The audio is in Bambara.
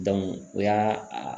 o y'a a